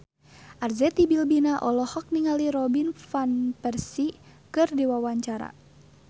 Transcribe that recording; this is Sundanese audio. Arzetti Bilbina olohok ningali Robin Van Persie keur diwawancara